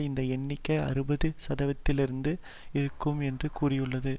இந்த எண்ணிக்கை அறுபது சதவிகிதத்தில் இருக்கும் என்று கூறியுள்ளது